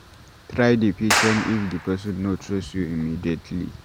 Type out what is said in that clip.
Try dey patient if di person no trust you immediately